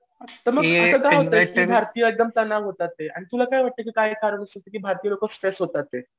तर मग असं का होतंय की भारतीय होतात ते तुला काय वाटतं की काय कारण असेल की भारतीय लोकं स्ट्रेस होतात ते?